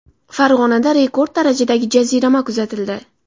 Farg‘onada rekord darajadagi jazirama kuzatildi.